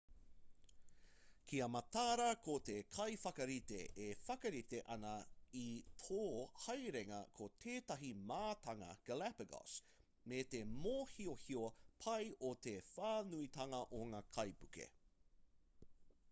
kia mataara ko te kaiwhakarite e whakarite ana i tō haerenga ko tētahi mātanga galapagos me te mōhiohio pai o te whānuitanga o ngā kaipuke